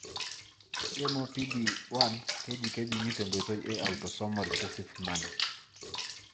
MOPD1 keji kejungi tenkoitoi e autosomal recessive manner.